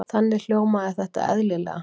Þannig hljómaði þetta eðlilega.